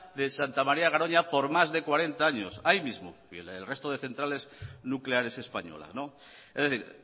de santa maría de garoña por más de cuarenta años ahí mismo y en el resto de centrales nucleares españolas es decir